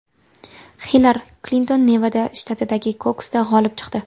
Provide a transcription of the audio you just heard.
Hillari Klinton Nevada shtatidagi kokusda g‘olib chiqdi.